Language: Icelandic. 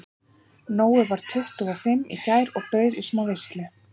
Nói varð tuttugu og fimm í gær og bauð í smá veislu.